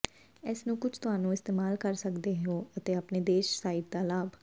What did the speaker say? ਇਸ ਨੂੰ ਕੁਝ ਤੁਹਾਨੂੰ ਇਸਤੇਮਾਲ ਕਰ ਸਕਦੇ ਹੋ ਅਤੇ ਆਪਣੇ ਦੇਸ਼ ਸਾਈਟ ਦਾ ਲਾਭ